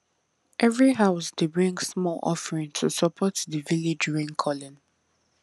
every house dey bring small offering to support the village raincalling